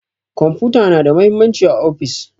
Kwamfuta na da mahimmanci a ofis.